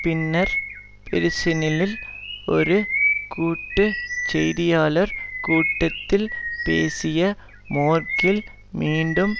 பின்னர் பெர்சினிஇல் ஒரு கூட்டு செய்தியாளர் கூட்டத்தில் பேசிய மேர்க்கெல் மீண்டும்